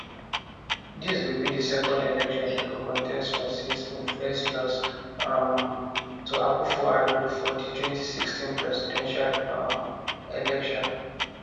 dis go be di second election e go contest for since im first lose um to akufo addo for di 2016 presidential um election